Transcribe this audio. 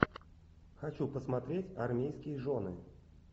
хочу посмотреть армейские жены